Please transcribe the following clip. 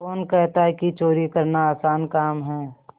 कौन कहता है कि चोरी करना आसान काम है